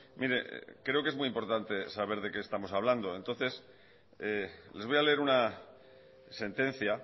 mire creo que es muy importante saber de qué estamos hablando entonces les voy a leer una sentencia